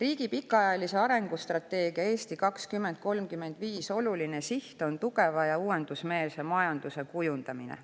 Riigi pikaajalise arengustrateegia "Eesti 2035" oluline siht on tugeva ja uuendusmeelse majanduse kujundamine.